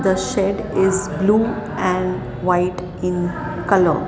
the shed is blue and white in colour.